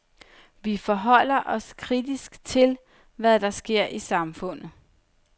Vi forholder os kritisk til, hvad der sker i samfundet.